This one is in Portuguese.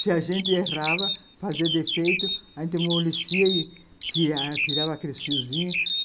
Se a gente errava, fazia defeito, a gente amolicia e tirava aqueles fiozinhos.